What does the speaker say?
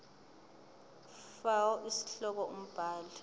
fal isihloko umbhali